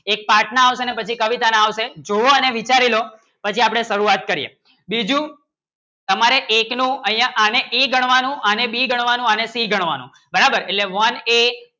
એક પાઠ ના આવશે ને બધા કવિતાના આવશે જોવો અને વિચારી લો પછી આપણે શુરવાત કરીએ બીજુ હમારે એક નું અહીંયા અને E ગણવાનું અને B ગણવાનું અને C ગણવાનું બરાબર એટલે One A